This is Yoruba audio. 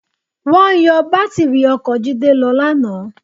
Wọ́n yọ bátìrì ọkọ̀ Jídé lọ lánàá.